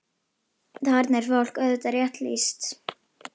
Þarna er fólki auðvitað rétt lýst.